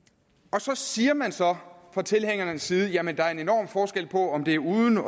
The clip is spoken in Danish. så siger man så fra tilhængernes side jamen der er en enorm forskel på om det er uden